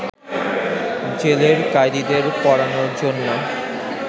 জেলের কয়েদীদের পড়ানোর জন্য